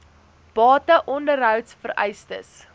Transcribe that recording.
bate onderhouds vereistes